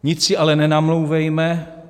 Nic si ale nenamlouvejme.